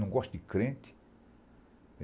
Não gosta de crente.